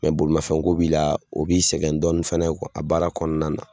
bolimanfɛnko b'i la, o b'i sɛgɛn dɔɔnin fɛnɛ a baara kɔnɔna na